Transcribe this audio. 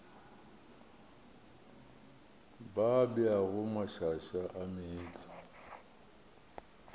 ba beago mašaša a meetlwa